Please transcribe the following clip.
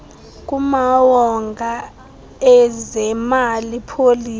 kumawonga ezemali policy